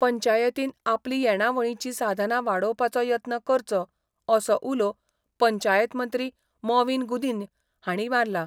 पंचायतीन आपली येणावळीचीं साधनां वाडोवपाचो यत्न करचो असो उलो पंचायत मंत्री मॉवीन गुदिन्य हांणी मारला.